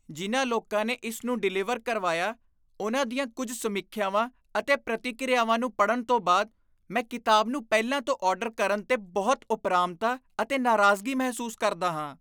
ਜਿਨ੍ਹਾਂ ਲੋਕਾਂ ਨੇ ਇਸ ਨੂੰ ਡਿਲਿਵਰ ਕਰਵਾਇਆ, ਉਨ੍ਹਾਂ ਦੀਆਂ ਕੁੱਝ ਸਮੀਖਿਆਵਾਂ ਅਤੇ ਪ੍ਰਤੀਕਿਰਿਆਵਾਂ ਨੂੰ ਪੜ੍ਹਨ ਤੋਂ ਬਾਅਦ ਮੈਂ ਕਿਤਾਬ ਨੂੰ ਪਹਿਲਾਂ ਤੋਂ ਆਰਡਰ ਕਰਨ 'ਤੇ ਬਹੁਤ ਉਪਰਾਮਤਾ ਅਤੇ ਨਾਰਾਜ਼ਗੀ ਮਹਿਸੂਸ ਕਰਦਾ ਹਾਂ।